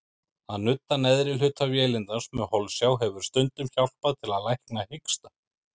Að nudda neðri hluta vélindans með holsjá hefur stundum hjálpað til að lækna hiksta.